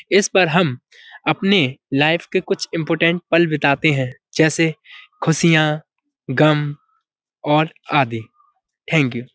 इस पर हम अपने लाइफ के कुछ इम्पोर्टेन्ट पल बिताते हैं जैसे खुशियाँ गम और आदि थैंक यू ।